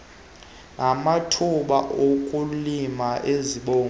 namathuba okulima izivuno